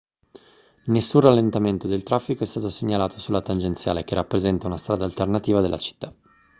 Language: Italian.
nessun rallentamento del traffico è stato segnalato sulla tangenziale che rappresenta una strada alternativa della città